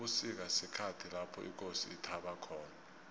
ubusika sikhathi lapho ikosi ithaba khona